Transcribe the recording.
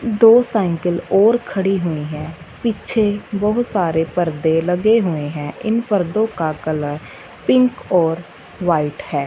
दो साइकिल और खड़ी हुई हैं। पीछे बहुत सारे परदे लगे हुए हैं। इन पदों का कलर पिंक और व्हाइट है।